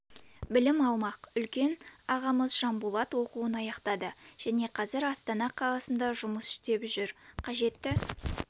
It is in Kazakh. білім алмақ үлкен ағамыз жанболат оқуын аяқтады және қазір астана қаласында жұмыс істеп жүр қажетті